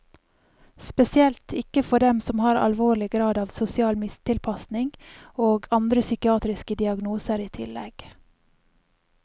Spesielt ikke for dem som har alvorlig grad av sosial mistilpasning og andre psykiatriske diagnoser i tillegg.